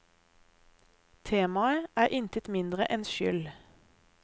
Temaet er intet mindre enn skyld.